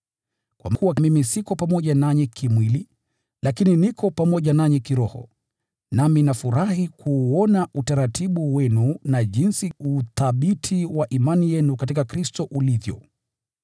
Kwa kuwa ingawa mimi siko pamoja nanyi kimwili, lakini niko pamoja nanyi kiroho, nami nafurahi kuuona utaratibu wenu na jinsi uthabiti wa imani yenu katika Kristo ulivyo.